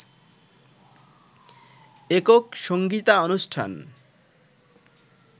একক সংগীতানুষ্ঠান